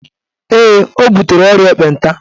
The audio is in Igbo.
Ee, ọ butere ọrịa ekpenta